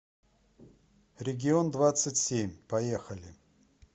регион двадцать семь поехали